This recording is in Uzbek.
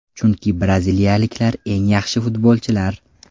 Chunki braziliyaliklar eng yaxshi futbolchilar.